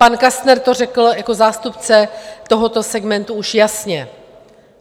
Pan Kastner to řekl jako zástupce tohoto segmentu už jasně.